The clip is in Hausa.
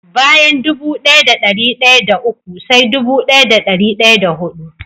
Bayan dubu daya da dari daya da uku sai dubu daya da dari daya da hudu.